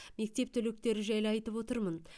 мектеп түлектері жайлы айтып отырмын